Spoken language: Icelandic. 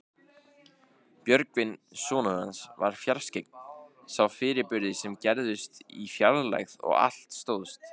Björgvin sonur hans var fjarskyggn, sá fyrirburði sem gerðust í fjarlægð og allt stóðst.